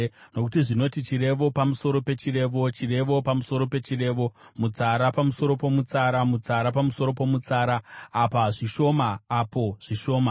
Nokuti zvinoti: Chirevo pamusoro pechirevo, chirevo pamusoro pechirevo, mutsara pamusoro pomutsara, mutsara pamusoro pomutsara, apa zvishoma, apo zvishoma.”